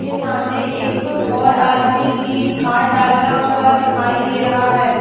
के सामने एक और आदमी भी खाद डालता हुआ दिखाई दे रहा है।